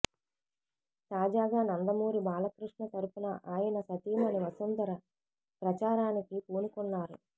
తాజాగా నందమూరి బాలకృష్ణ తరపున ఆయన సతీమణి వసుంధర ప్రచారానికి పూనుకున్నారు